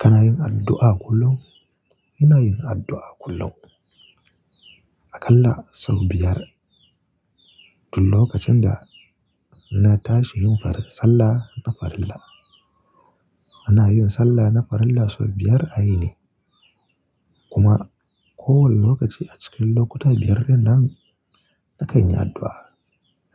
Kana yin addu'a kullum? Ina yin addu'a kullum. Akalla sau biyar. Tun lokacin da na tashi yin farin sallah na farilla. Ana yin sallah na farilla sau biyar a yini. Kuma kowane lokaci a cikin lokuta biyar dinnan na kanyi addu'a.